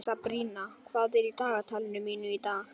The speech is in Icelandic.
Sabrína, hvað er í dagatalinu mínu í dag?